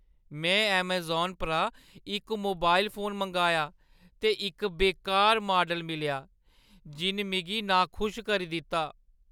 में अमेज़ान परा इक मोबाइल फोन मंगाया ते इक बेकार माडल मिलेआ जिन मिगी नाखुश करी दित्ता ।